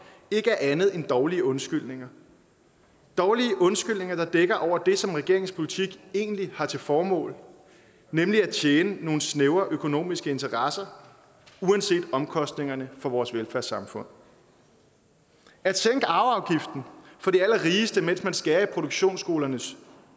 ikke er andet end dårlige undskyldninger dårlige undskyldninger der dækker over det som regeringens politik egentlig har til formål nemlig at tjene nogle snævre økonomiske interesser uanset omkostningerne for vores velfærdssamfund at sænke arveafgiften for de allerrigeste mens man skærer i produktionsskoleelevernes